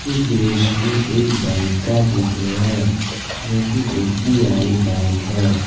इस दृश्य में एक बैंक का चित्र है जो की एस_बी_आई बैंक है।